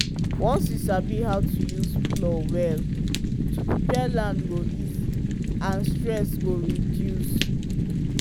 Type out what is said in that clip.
once you sabi how to use plow well to prepare land go easy and stress go reduce.